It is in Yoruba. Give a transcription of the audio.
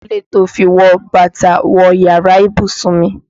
Kí ló dé tí o fi wọ bàtà wọ yàrá ìbùsùn mi?